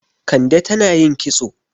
Kande tan ayin kitso.